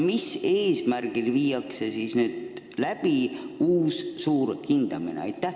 Milleks viiakse nüüd läbi uus suur hindamine?